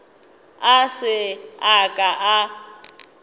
a se a ka a